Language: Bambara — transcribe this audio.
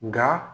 Nka